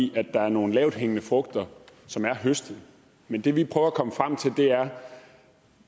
i at der er nogle lavthængende frugter som er høstet men det vi prøver at komme frem til er